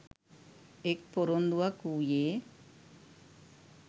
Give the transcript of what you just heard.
එක් පොරොන්දුවක් වූයේ